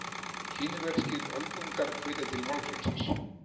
Kínverskir öldungar hvetja til málfrelsis